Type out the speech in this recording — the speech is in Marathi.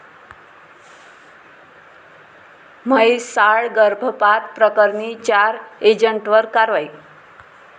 म्हैसाळ गर्भपात प्रकरणी चार एजंटवर कारवाई